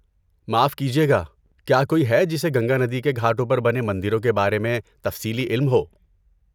معاف کیجئے گا، کیا کوئی ہے جسے گنگا ندی کے گھاٹوں پر بنے مندروں کے بارے میں تفصیلی علم ہو؟